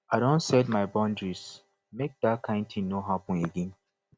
i don set my boundaries make dat kain tin no happen again